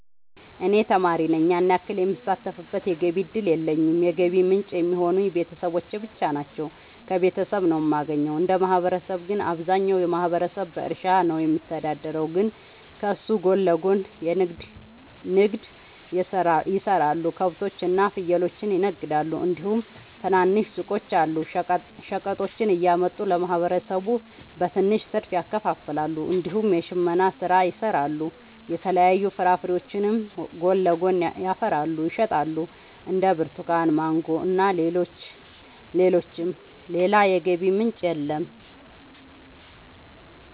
እኔ ተማሪ ነኝ ያን ያክል የምሳተፍበት የገቢ እድል የለኝም የገቢ ምንጭ የሚሆኑኝ ቤተሰብ ብቻ ነው። ከቤተሰብ ነው የማገኘው። እንደ ማህበረሰብ ግን አብዛኛው ማህበረሰብ በእርሻ ነው የሚተዳደር ግን ከሱ ጎን ለጎን ንግድ የሰራሉ ከብቶች እና ፍየሎችን ይነግዳሉ እንዲሁም ትናንሽ ሱቆች አሉ። ሸቀጦችን እያመጡ ለማህበረሰቡ በትንሽ ትርፍ ያከፋፍላሉ። እንዲሁም የሽመና ስራ ይሰራሉ የተለያዩ ፍራፍሬዎችንም ጎን ለጎን ያፈሩና ይሸጣሉ እንደ ብርቱካን ማንጎ እና ሌሎችም። ሌላ የገቢ ምንጭ የለም።